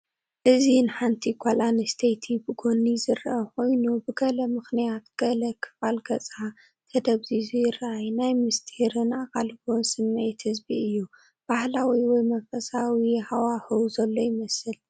እዚ ንሓንቲ ጓል ኣንስተይቲ ብጎኒ ዝርአ ኮይኑ፡ ብገለ ምኽንያት ገለ ክፋል ገጻ ተደብዚዙ ይራኣይ። ናይ ምስጢርን ኣቓልቦን ስምዒት ዝህብ እዩ። ባህላዊ ወይ መንፈሳዊ ሃዋህው ዘሎ ይመስል።